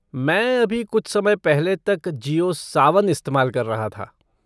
मैं अभी कुछ समय पहले तक जिओ सावन इस्तेमाल कर रहा था।